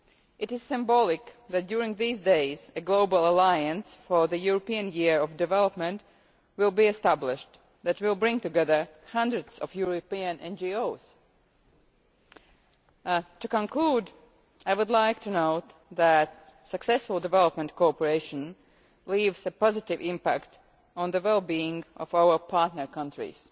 It is symbolic that at this time, a global alliance for the European Year for Development will be established that will bring together hundreds of European NGOs. To conclude, I would like to note that successful development cooperation leaves a positive impact on the well being of our partner countries.